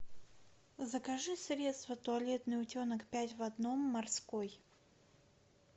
закажи средство туалетный утенок пять в одном морской